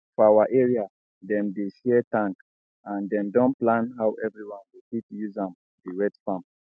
for our area dem dey share tank and dem don plan how everyone go fit use am dey wet farm